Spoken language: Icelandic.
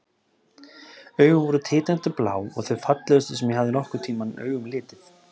Augun voru tindrandi blá og þau fallegustu sem ég hafði nokkurn tímann augum litið.